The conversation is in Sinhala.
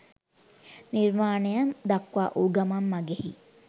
නිර්වාණය දක්වා වූ ගමන් මඟෙහි